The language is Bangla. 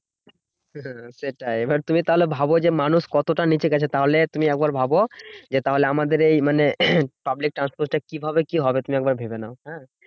সেটাই এবার তুমি তাহলে ভাবো যে মানুষ কতটা নিচে গেছে। তাহলে তুমি একবার ভাবো যে, তাহলে আমাদের এই মানে public transport এ কিভাবে কি হবে? তুমি একবার ভেবে নাও হ্যাঁ?